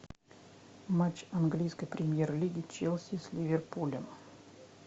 матч английской премьер лиги челси с ливерпулем